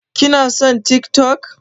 Kina son TikTok.